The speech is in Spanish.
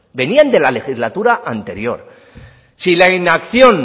venían de la legislatura anterior si la inacción